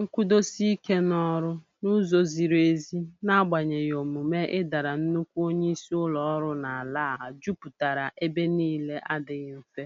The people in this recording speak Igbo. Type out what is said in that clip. Nkwụdosike n'ọrụ n'ụzọ ziri ezi n'agbanyeghị omume ịdara nnukwu onye isi ụlọ ọrụ n'ala a juputara ebe niile adịghị mfe,